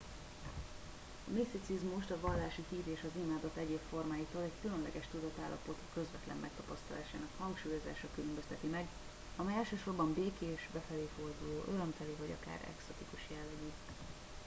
a miszticizmust a vallási hit és az imádat egyéb formáitól egy különleges tudatállapot közvetlen megtapasztalásának hangsúlyozása különbözteti meg amely elsősorban békés befelé forduló örömteli vagy akár eksztatikus jellegű